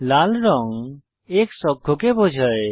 লাল রঙ X অক্ষকে বোঝায়